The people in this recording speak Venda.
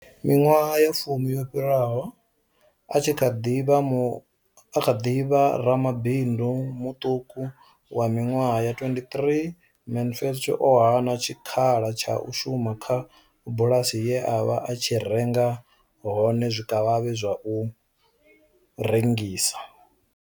Miṅwaha ya fumi yo fhiraho, a tshi kha ḓi vha ramabindu muṱuku wa miṅwaha ya 23, Mansfield o hana tshikhala tsha u shuma kha bulasi ye a vha a tshi renga hone zwikavhavhe zwa u rengisa.